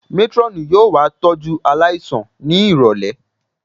Métírọ́ọ̀nù yóò wá tọ́jú aláìsàn ní ìrọ̀lẹ̀